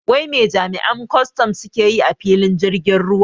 Wai me jami'an kwaston suke yi a filin jirgin ruwa?